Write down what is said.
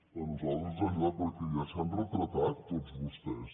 a nosaltres ens ha ajudat perquè ja s’han retratat tots vostès